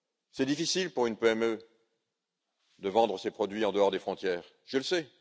trop. C'est difficile pour une PME de vendre ses produits en dehors des frontières, je le